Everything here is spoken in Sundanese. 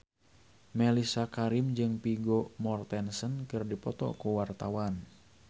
Mellisa Karim jeung Vigo Mortensen keur dipoto ku wartawan